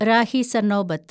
Rahi Sarnobat